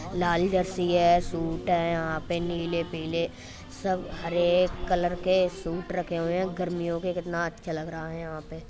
लाल jersey है suit है यहाँ पे नीले पीले सब हरे कलर के सूट रखे हुए हैं गर्मियों के कितना अच्छा लग रहा है यहाँ पे।